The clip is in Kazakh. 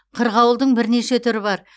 қырғауылдың бірнеше түрі бар